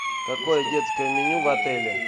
какое детское меню в отеле